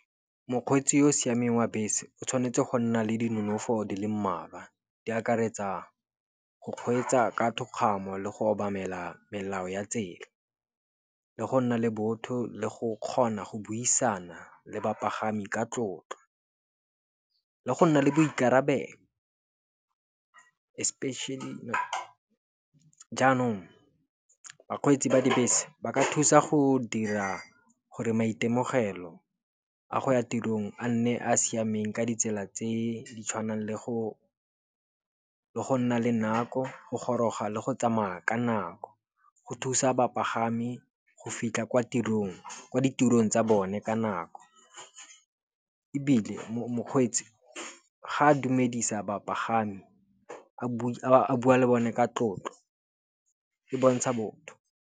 Mokgweetsi yo o siameng wa bese o tshwanetse go nna le di nonofo di le mmalwa. Di akaretsa go kgweetsa ka thokgamo le go obamela melao ya tsela, le go nna le botho le go kgona go buisana le bapagami ka tlotlo. Le go nna le boikarabelo, especially jaanong bakgweetsi ba dibese ba ka thusa go dira gore maitemogelo a go ya tirong a nne a a siameng ka ditsela tse di tshwanang le go nna le nako, go goroga le go tsamaya ka nako, go thusa bapagami go fitlha kwa ditirong tsa bone ka nako. Ebile mokgweetsi ga a dumedisa bapagami, a bua le bone ka tlotlo e bontsha botho.